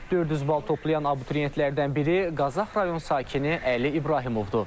400 bal toplayan abituriyentlərdən biri Qazax rayon sakini Əli İbrahimovdur.